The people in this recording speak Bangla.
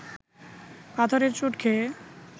পাথরের চোট খেয়ে